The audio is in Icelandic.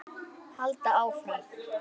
Halda áfram.